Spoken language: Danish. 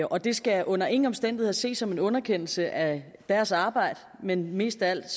og det skal under ingen omstændigheder ses som en underkendelse af deres arbejde men mest af alt